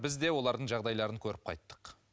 біз де олардың жағдайларын көріп қайттық